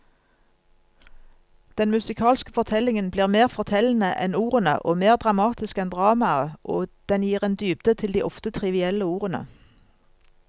Den musikalske fortellingen blir mer fortellende enn ordene og mer dramatisk enn dramaet, og den gir en dybde til de ofte trivielle ordene.